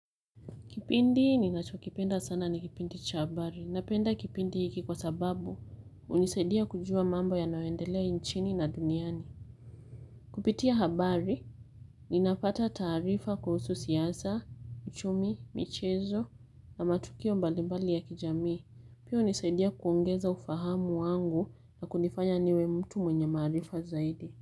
Kipindi ninacho kipenda sana ni kipindi cha habari. Napenda kipindi hiki kwa sababu hunisaidia kujua mambo yanayoendelea nchini na duniani. Kupitia habari ninapata taarifa kuhusu siasa, uchumi, michezo na matukio mbalimbali ya kijamii. Pia hunisaidia kuongeza ufahamu wangu na kunifanya niwe mtu mwenye maarifa zaidi.